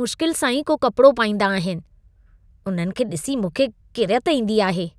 मुश्किल सां ई को कपड़ो पाईंदा आहिनि। उन्हनि खे ॾिसी मूंखे किरियत ईंदी आहे।